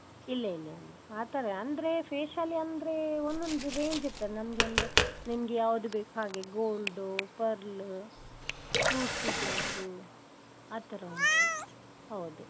ಇಲ್ಲ ಇಲ್ಲ ಇಲ್ಲ. ಆತರ ಅಂದ್ರೆ facial ಅಂದ್ರೆ ಒಂದೊಂದು range ಇರ್ತದೆ. ನಮ್ಗೆ ಅಂದ್ರೆ ನಿಮ್ಗೆ ಯಾವುದು ಬೇಕು ಹಾಗೆ gold, pearl, fruits ದ್ದು ಉಂಟು ಆತರ ಉಂಟು. ಹೌದು.